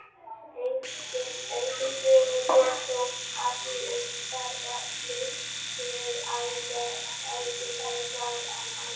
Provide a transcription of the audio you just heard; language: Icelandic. Engum sögum fer þó af því að umferðarslys séu algengari þar en annars staðar.